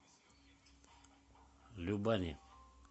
любани